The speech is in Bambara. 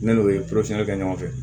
Ne n'o ye kɛ ɲɔgɔn fɛ